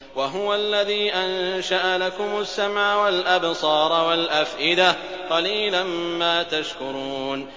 وَهُوَ الَّذِي أَنشَأَ لَكُمُ السَّمْعَ وَالْأَبْصَارَ وَالْأَفْئِدَةَ ۚ قَلِيلًا مَّا تَشْكُرُونَ